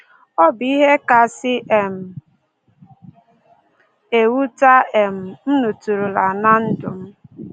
Ọ bụ ihe kasị um ewute um m nụtụrụla ná ndụ m